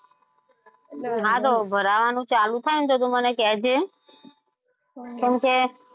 હા તો ભરવાનું ચાલુ થાય ને તો તું મને કેજે કેમકે